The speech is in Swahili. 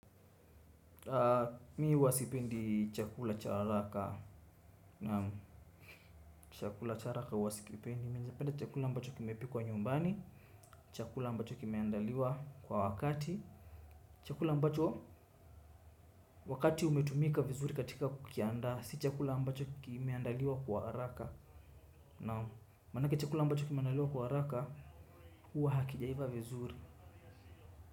Mi uwasipendi chakula cha haraka. Na chakula cha haraka uwasipendi Minza penda chakula mbacho kime pikuwa nyumbani. Chakula mbacho kimeandaliwa kwa wakati. Chakula mbacho wakati umetumika vizuri katika kukiandaa si chakula ambacho kimeandaliwa kwa haraka. Na manaka chakula ambacho kimeandaliwa kwa haraka huwa hakijaiva vizuri.